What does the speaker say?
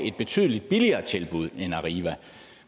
et betydelig billigere tilbud end arriva